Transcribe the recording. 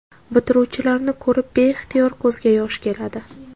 Bitiruvchilarni ko‘rib beixtiyor ko‘zga yosh keladi.